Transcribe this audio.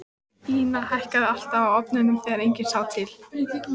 Ína hækkaði alltaf á ofnunum þegar enginn sá til.